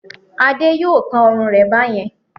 Ade yóò kán ọrùn rẹ̀ bá yẹn.